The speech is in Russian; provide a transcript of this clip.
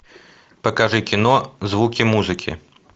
покажи кино звуки музыки